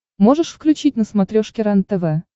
можешь включить на смотрешке рентв